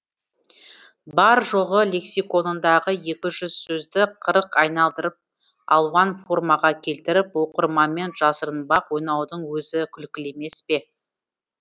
бар жоғы лексиконындағы екі жүз сөзді қырық айналдырып алуан формаға келтіріп оқырманмен жасырынбақ ойнаудың өзі күлкілі емес пе